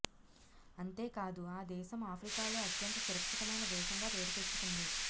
అంతేకాదు ఆ దేశం ఆఫ్రికాలో అత్యంత సురక్షితమైన దేశంగా పేరు తెచ్చుకుంది